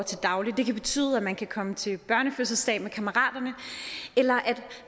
til daglig det kan betyde at man kan komme til børnefødselsdag med kammeraterne eller at